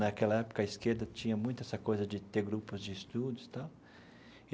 Naquela época, a esquerda tinha muita essa coisa de ter grupos de estudos e tal.